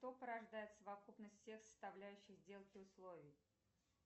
что порождает совокупность всех составляющих сделки условий